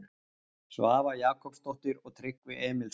Svava Jakobsdóttir og Tryggvi Emilsson.